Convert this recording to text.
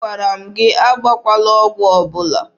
Agwara m gị agbakwala ọgwụ ọgbụgba!